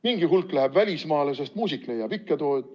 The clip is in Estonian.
Mingi hulk läheb välismaale, sest muusik leiab ikka tööd.